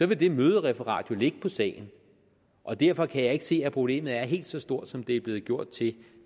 vil det mødereferat jo ligge på sagen og derfor kan jeg ikke se at problemet er helt så stort som det er blevet gjort til